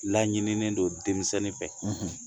Laɲininen don denmisɛnnin fɛ